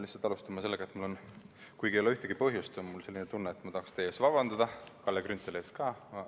Pean alustama sellest, et kuigi ei ole ühtegi põhjust, on mul selline tunne, et ma tahaks teilt vabandust paluda, Kalle Grünthalilt ka.